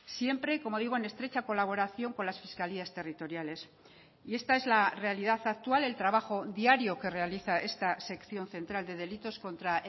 siempre como digo en estrecha colaboración con las fiscalías territoriales y esta es la realidad actual el trabajo diario que realiza esta sección central de delitos contra